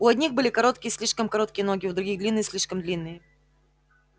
у одних были короткие слишком короткие ноги у других длинные слишком длинные